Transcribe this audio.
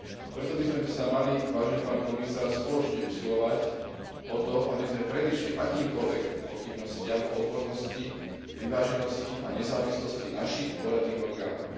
Preto by sme sa mali, vážený pán komisár, spoločne usilovať o to, aby sme predišli akýmkoľvek pochybnostiam o odbornosti, vyváženosti a nezávislosti našich poradných orgánov.